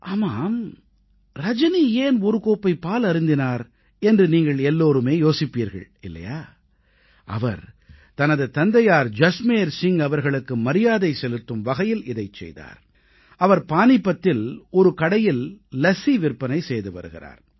ஆமாம் ரஜனி ஏன் ஒரு கோப்பை பால் அருந்தினார் என்று நீங்கள் எல்லோரும் யோசிப்பீர்கள் இல்லையா அவர் தனது தந்தையார் ஜஸ்மேர் சிங் அவர்களுக்கு மரியாதை செலுத்தும் வகையில் இதைச் செய்தார் அவர் பானீபத்தில் ஒரு கடையில் லஸ்ஸி விற்பனை செய்து வருகிறார்